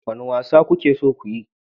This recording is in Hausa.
Wane wasa kuke so ku yi?